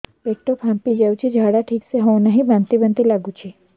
ପେଟ ଫାମ୍ପି ଯାଉଛି ଝାଡା ଠିକ ସେ ହଉନାହିଁ ବାନ୍ତି ବାନ୍ତି ଲଗୁଛି